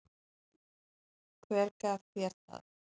Hver gaf þér það?